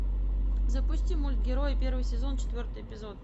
запусти мульт герои первый сезон четвертый эпизод